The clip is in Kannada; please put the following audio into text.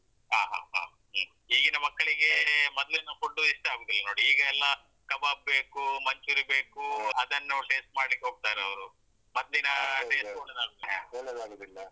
ಹ ಹ ಹ ಈಗಿನ ಮಕ್ಕಳಿಗೇ ಮೊದ್ಲಿನ food ಇಷ್ಟ ಆಗುದಿಲ್ಲ ನೋಡಿ ಈಗ ಎಲ್ಲ kebab ಬೇಕು manchuri~ ಬೇಕು ಅದನ್ನು taste ಮಾಡ್ಲಿಕ್ಕ್ ಹೋಗ್ತಾರವ್ರು ಮತ್ತ್ ದಿನಾ ಒಳ್ಳೆದಾಗುದಿಲ್ಲ.